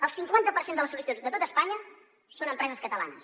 el cinquanta per cent de les sol·licituds de tot espanya són empreses catalanes